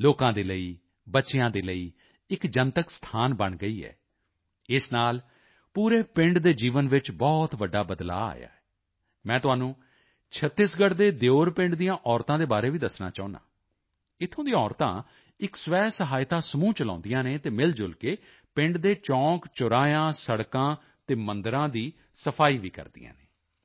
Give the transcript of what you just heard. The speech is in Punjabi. ਲੋਕਾਂ ਦੇ ਲਈ ਬੱਚਿਆਂ ਦੇ ਲਈ ਇੱਕ ਜਨਤਕ ਸਥਾਨ ਬਣ ਗਈ ਹੈ ਇਸ ਨਾਲ ਪੂਰੇ ਪਿੰਡ ਦੇ ਜੀਵਨ ਵਿੱਚ ਬਹੁਤ ਵੱਡਾ ਬਦਲਾਅ ਆਇਆ ਹੈ ਮੈਂ ਤੁਹਾਨੂੰ ਛੱਤੀਸਗੜ੍ਹ ਦੇ ਦੇਉਰ ਪਿੰਡ ਦੀਆਂ ਔਰਤਾਂ ਦੇ ਬਾਰੇ ਵੀ ਦੱਸਣਾ ਚਾਹੁੰਦਾ ਹਾਂ ਇੱਥੋਂ ਦੀਆਂ ਔਰਤਾਂ ਇੱਕ ਸਵੈਸਹਾਇਤਾ ਸਮੂਹ ਚਲਾਉਂਦੀਆਂ ਹਨ ਅਤੇ ਮਿਲਜੁਲ ਕੇ ਪਿੰਡ ਦੇ ਚੌਂਕਚੁਰਾਹਿਆਂ ਸੜਕਾਂ ਅਤੇ ਮੰਦਿਰਾਂ ਦੀ ਸਫ਼ਾਈ ਕਰਦੀਆਂ ਹਨ